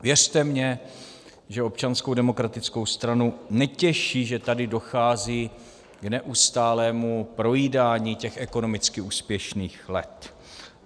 Věřte mi, že Občanskou demokratickou stranu netěší, že tady dochází k neustálému projídání těch ekonomicky úspěšných let.